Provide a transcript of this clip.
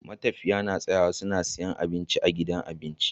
Matafiya na tsayawa su siya abinci a gidan abinci